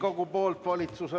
Ja nüüd lülitan sisse saalikutsungi.